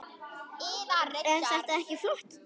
Er það ekki flott drama?